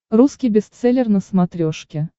русский бестселлер на смотрешке